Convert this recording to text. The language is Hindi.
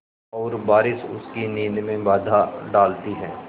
और बारिश उसकी नींद में बाधा डालती है